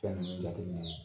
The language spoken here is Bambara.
Fɛn ninnu jateminɛ